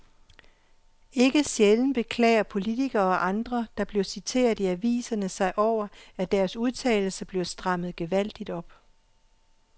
Ikke sjældent beklager politikere og andre, der bliver citeret i aviserne sig over, at deres udtalelser bliver strammet gevaldigt op.